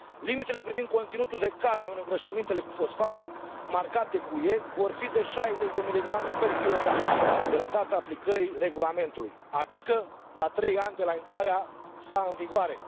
Limitele privind conținutul de cadmiu în îngrășămintele cu fosfat marcate UE vor fi de 60 mg kg de la data aplicării regulamentului, adică la trei ani de la intrarea sa în vigoare.